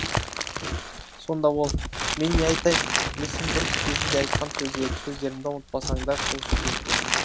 сонда ол мен не айтайын есім дұрыс кезінде айтқан сөздерімді ұмытпасаңдар сол жетеді